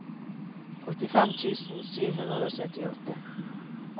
åttifem tusen sju hundre og syttiåtte